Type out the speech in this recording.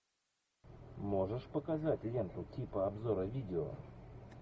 можешь показать ленту типа обзора видео